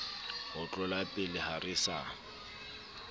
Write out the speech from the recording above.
ho tlolapele ha re sa